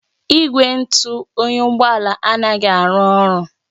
Igwe ntụ oyi Ụgbọ ala anaghị arụ ọrụ